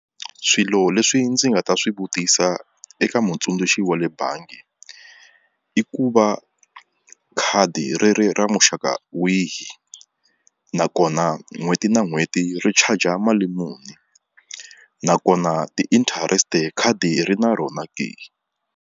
Swilo leswi ndzi nga ta swi vutisa eka mutsundzuxi wa le bangi i ku va khadi ri ri ra muxaka wihi nakona n'hweti na n'hweti ri charger mali muni nakona ti-interest khadi ri na rona ke.